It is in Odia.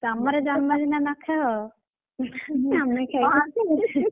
ତମର ଜନ୍ମଦିନ ନଖାଅ, ହଁ ଆମେ ଖାଇବୁ।